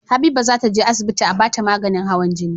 Habiba zata je asibiti a bata maganin hawan jini